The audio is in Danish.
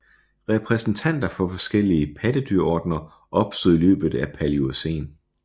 Repræsentanter for forskellige pattedyrordener opstod i løbet af Paleocæn